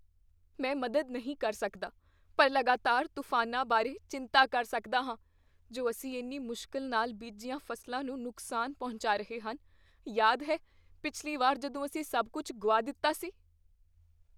ਮੈਂ ਮਦਦ ਨਹੀਂ ਕਰ ਸਕਦਾ ਪਰ ਲਗਾਤਾਰ ਤੂਫਾਨਾਂ ਬਾਰੇ ਚਿੰਤਾ ਕਰ ਸਕਦਾ ਹਾਂ ਜੋ ਅਸੀਂ ਇੰਨੀ ਮੁਸ਼ਕਿਲ ਨਾਲ ਬੀਜੀਆਂ ਫ਼ਸਲਾਂ ਨੂੰ ਨੁਕਸਾਨ ਪਹੁੰਚਾ ਰਹੇ ਹਨ। ਯਾਦ ਹੈ ਪਿਛਲੀ ਵਾਰ ਜਦੋਂ ਅਸੀਂ ਸਭ ਕੁੱਝ ਗੁਆ ਦਿੱਤਾ ਸੀ?